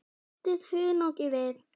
Bætið hunangi við.